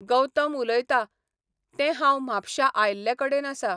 गौतम उलयता तें हांव म्हापशा आयल्ले कडेन आसा.